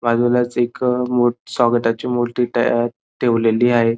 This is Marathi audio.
बाजूलाच एक मो स्वागताची मोठी तया ठेवलेली आहे.